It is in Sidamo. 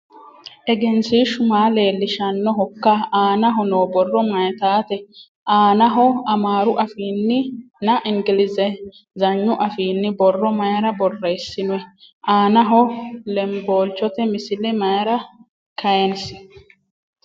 Egensiishu maa leellishanohokka? Aanaho noo borro mayiitate? Aanaho amaaru afiinnina ingilizhagnu afiinni borro mayiira borreessinoyi? Aanaho lemboolichote misile mayiira kayiinsi?